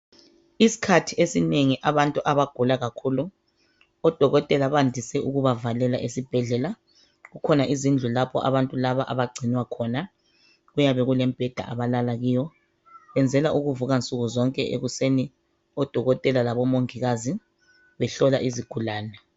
Isikhathi esinengi abantu abagula kakhulu odokotela bandise ukubavalela esibhedlela. Kukhona izindlu abantu laba abagcinwa khona. Kuyabe kulemibheda abalala kiyo. Benzela ukuvuka nsuku zonke ekuseni odokotela labomongikazi behlola izigulane.